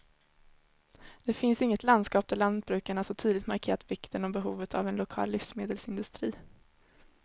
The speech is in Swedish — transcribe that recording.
Det finns inget landskap där lantbrukarna så tydligt markerat vikten och behovet av en lokal livsmedelsindustri.